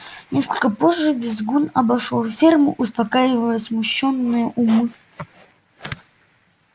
несколько позже визгун обошёл ферму успокаивая смущённые умы